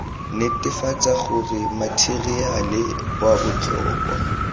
netefatsa gore matheriale wa botlhokwa